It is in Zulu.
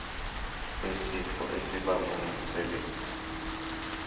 wesifo esibagwe ngumsebenzi